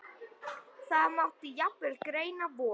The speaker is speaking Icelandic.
Það mátti jafnvel greina von